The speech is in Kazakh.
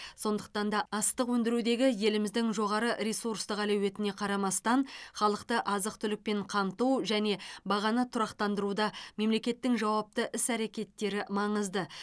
сондықтан да астық өндірудегі еліміздің жоғары ресурстық әлеуетіне қарамастан халықты азық түлікпен қамту және бағаны тұрақтандыруда мемлекеттің жауапты іс әрекеттері маңызды